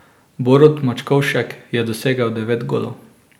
Borut Mačkovšek je dosegel devet golov.